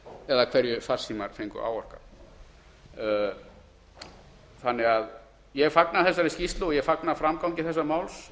eða hverju farsímar fengu áorkað ég fagna þessari skýrslu og ég fagna framgangi þessa máls